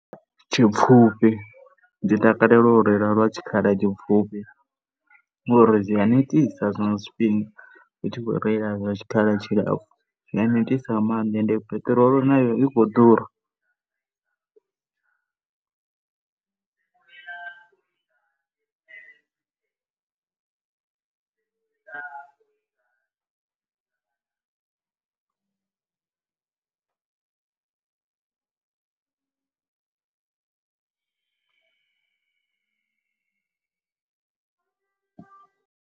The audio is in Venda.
Tshipfhufhi, ndi takalela u reila lwa tshikhala tshipfhufhi ngori zwi a netisa zwiṅwe zwifhinga u tshi khou rela lwa tshikhala tshilapfhu, zwi a netisa nga maanḓa. And peṱirolo nayo i khou ḓura.